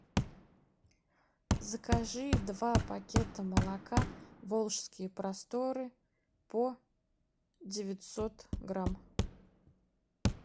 закажи два пакета молока волжские просторы по девятьсот грамм